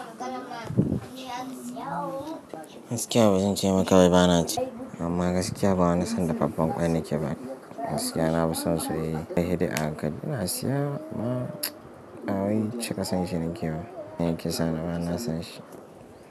Gaskiya ba zan ce maka ba, ba na ci. Amma gaskiya ba wani son dafaffen ƙwai na ke ba. Gaskiya na fi son soyayye kai saide a hankali. Ina siya ma bawai cika son shi nake ba in ya yi kisa na ba na san shi.